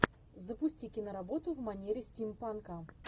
запусти киноработу в манере стимпанка